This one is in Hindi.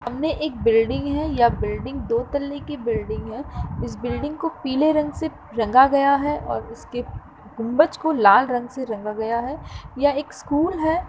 सामने एक बिल्डिंग है। यह बिल्डिंग दो तल्ले की बिल्डिंग है। इस बिल्डिंग को पीले रंग से रंगा गया है और उसके गुम्बज को लाल रंग से रंगा गया है। यह एक स्कूल है।